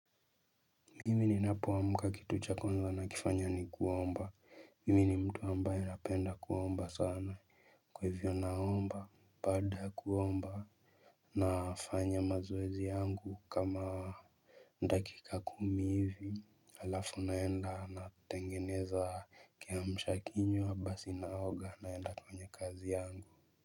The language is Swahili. Mimi ninapoamka kitu cha kwanza nakifanya ni kuomba. Mimi ni mtu ambaye napenda kuomba sana. Kwa hivyo naomba. Baada ya kuomba. Nafanya mazoezi yangu kama. Dakika kumi hivi alafu naenda natengeneza kiamshakinywa basi naoga naenda kwenye kazi yangu.